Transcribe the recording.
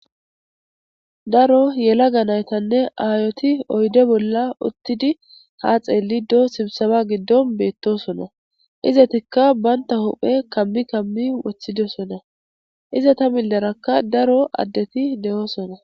Daro yelaga naytinne aayoti oyde bolla uttidi ha xeelidoo sibsaba giddon beettosona. Izetikka banta huphe kammi kammi wothidosona. Izata millerakka daro addeti de7oosona.